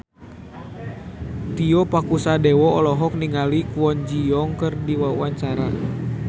Tio Pakusadewo olohok ningali Kwon Ji Yong keur diwawancara